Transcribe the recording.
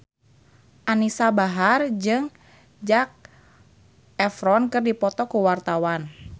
Anisa Bahar jeung Zac Efron keur dipoto ku wartawan